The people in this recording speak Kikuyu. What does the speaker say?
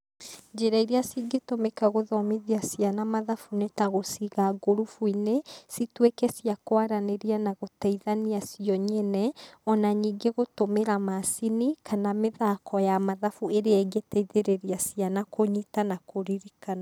Njĩra iria cingĩtũmĩka gũthomithia ciana mathabu nĩ ta; gũciiga ngurubuinĩ, cituĩke cia kwaranĩria na gũteithania cio nyene,o na ningĩ gũtũmĩra macini kana mithako ya mathabu ĩrĩa ĩngĩteithĩrĩria ciana kũnyiita na kũririkana.